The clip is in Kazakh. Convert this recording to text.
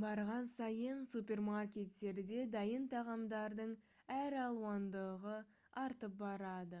барған сайын супермаркеттерде дайын тағамдардың әр алуандылығы артып барады